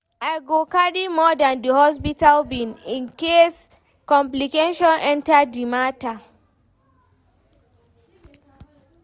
I go carry more dan di hospital bill incase complication enta di mata.